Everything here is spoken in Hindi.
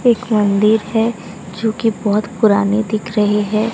एक मंदिर है जो की बहोत पुरानी दिख रही है।